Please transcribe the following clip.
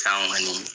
San kɔni